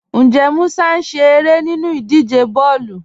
Ǹjẹ́ Mùsà ń ṣẹ̀ ẹ̀rẹ́ nínú ìdíjẹ̀ bọ̀ọ̀lu?